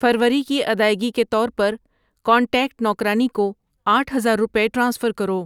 فروری کی ادائیگی کے طور پر کانٹیکٹ نوکرانی کو آٹھ ہزار روپے ٹرانسفر کرو۔